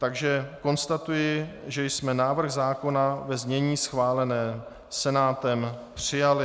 Takže konstatuji, že jsme návrh zákona ve znění schváleném Senátem přijali.